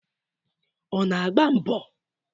Ọ na-agba mbọ?